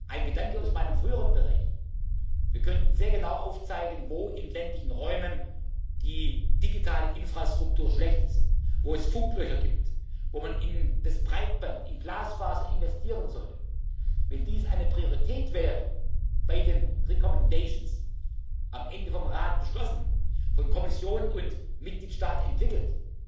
machen? Ein Gedanke aus meinem früheren Bereich Wir könnten sehr genau aufzeigen, wo in ländlichen Räumen die digitale Infrastruktur schlecht ist, wo es Funklöcher gibt, wo man in das Breitband, in Glasfaser investieren sollte. Wenn dies bei den Empfehlungen eine Priorität wäre, am Ende vom Rat beschlossen, von Kommission und Mitgliedstaat